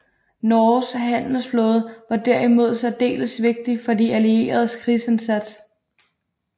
Norges handelsflåde var derimod særdeles vigtig for de allieredes krigsindsats